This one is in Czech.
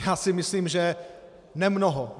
Já si myslím, že nemnoho.